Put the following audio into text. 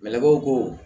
ko